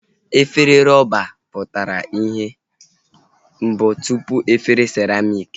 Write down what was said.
Efere rọba a pụtala ihe mbụ tụpụ efere siramịk